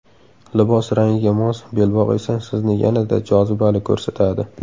Libos rangiga mos belbog‘ esa sizni yanada jozibali ko‘rsatadi.